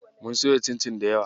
Mun soya cincin dayawa.